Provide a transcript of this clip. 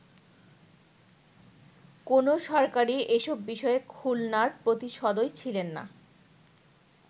কোন সরকারই এসব বিষয়ে খুলনার প্রতি সদয় ছিলেননা”।